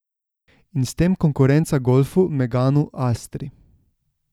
In s tem konkurenca golfu, meganu, astri...